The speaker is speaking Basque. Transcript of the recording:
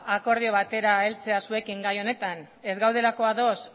akordio batera heltzera gai honetan ez gaudela ados